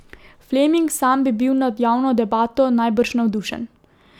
Fleming sam bi bil nad javno debato najbrž navdušen.